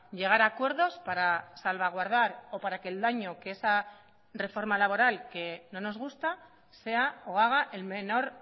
llegar a acuerdos para salvaguardar o para que el daño que esa reforma laboral que no nos gusta sea o haga el menor